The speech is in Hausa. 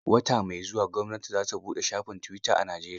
Wata mai zuwa gwamnati za ta buɗe shafin tuwita a Najeriya.